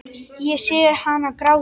Ég sé hana gráta.